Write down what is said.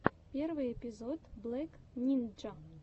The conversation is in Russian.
первый эпизод блэк нинджа